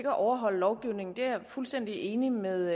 at overholde lovgivningen det er jeg fuldstændig enig med